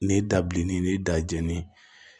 Ni dabilenni ni da jɛn ni